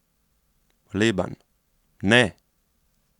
Leban: 'Ne.